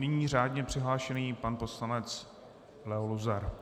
Nyní řádně přihlášený pan poslanec Leo Luzar.